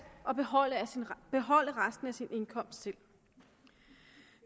og beholde resten beholde resten af sin indkomst selv